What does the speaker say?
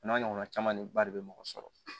A n'a ɲɔgɔnna caman ne ba de bɛ mɔgɔ sɔrɔ